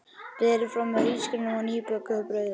Berið fram með hrísgrjónum og nýbökuðu brauði.